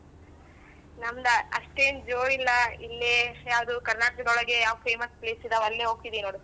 ನಮ್ದ ಅಷ್ಟೇನ್ ಜೋರಿಲ್ಲ ಇಲ್ಲೇ ಯಾವ್ದು ಕರ್ನಾಟಕದೊಳಗೆ ಯಾವ್ famous place ಇದಾವ್ ಅಲ್ಲೇ ಹೋಗ್ತಿದಿವ್ ನೋಡು.